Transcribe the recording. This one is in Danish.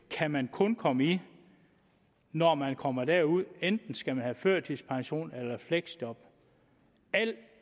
kan man kun komme i når man kommer derud hvor enten skal have førtidspension eller fleksjob alt